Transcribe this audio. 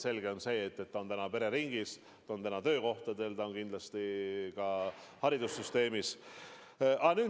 Selge on, et nakatumine on pereringis, on töökohtades, aga kindlasti ka haridussüsteemis.